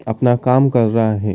अपना काम कर रा है।